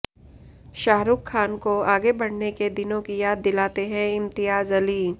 शाहरुख खान को आगे बढ़ने के दिनों की याद दिलाते हैं इम्तियाज अली